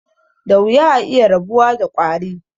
Da wuya a iya rabuwa da ƙwari.